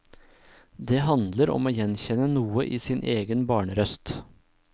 Det handler om å gjenkjenne noe i sin egen barnerøst.